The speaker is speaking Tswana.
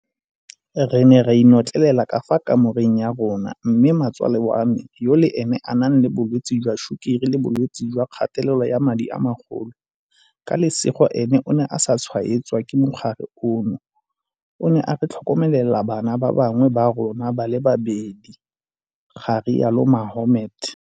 Re ne ra inotlelela ka fa kamoreng ya rona, mme mmatsale wa me yo le ene a nang le bolwetse jwa sukiri le bolwetse jwa kgatelelo ya madi a magolo ka lesego ene o ne a sa tshwaetswa ke mogare ono o ne a re tlhokomelela bana ba bangwe ba rona ba le babedi, ga rialo Mohammed.